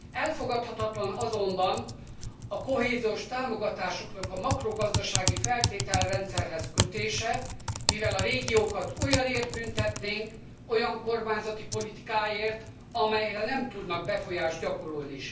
Elfogadhatatlan azonban a kohéziós támogatásoknak a makrogazdasági feltételrendszerhez kötése, mivel a régiókat olyanért büntetnénk, olyan kormányzati politikáért, amelyre nem tudnak befolyást gyakorolni.